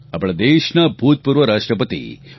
આપણા દેશના ભૂતપૂર્વ રાષ્ટ્રપતિ ડૉ